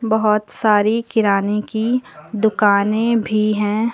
बहोत सारी किराने की दुकाने भी हैं।